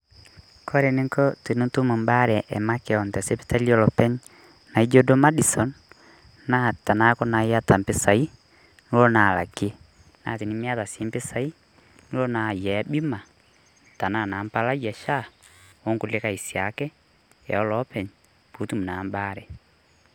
Kore eninko tenitum ebaare emakeon tesipitali olopeny naijo duo Maddison, naa tanaaku na iyata mpisai nolo na alakie. Na tenimiata si mpisai, nilo naa ayiaya bima, tanaa na empalai e SHA, onkulukae siake oloopeny, potum naa ebaare.